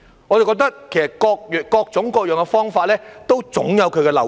我認為各種各樣的方法都總有漏洞。